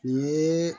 Nin yee